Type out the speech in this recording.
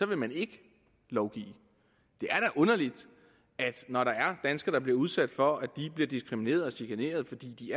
vil man ikke lovgive det er da underligt når der er danskere der bliver udsat for at de bliver diskrimineret og chikaneret fordi